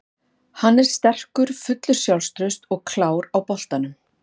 Hann er sterkur, fullur sjálfstrausts og klár á boltanum.